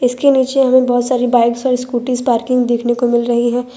इसके नीचे हमें बहुत सारी बाइक सारी स्कूटी पार्किंग देखने को मिल रही है।